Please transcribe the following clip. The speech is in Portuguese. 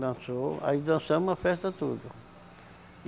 Dançou, aí dançamos a festa tudo.